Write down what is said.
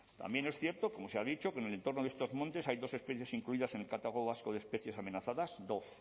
también es cierto como se ha dicho que en el entorno de estos montes hay dos especies incluidas en el catálogo vasco de especies amenazadas dos